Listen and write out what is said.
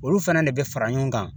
Olu fana de bɛ fara ɲɔgɔn kan